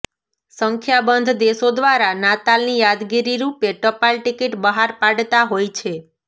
સંખ્યાબંધ દેશો દ્વારા નાતાલની યાદગીરી રૂપે ટપાલ ટિકિટ બહાર પાડતા હોય છે